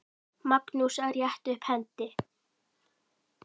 Magnús: Að rétta upp hendi.